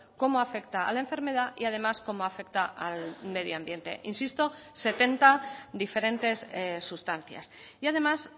como afecta a la enfermedad y además como afecta al medio ambiente insisto setenta diferentes sustancias y además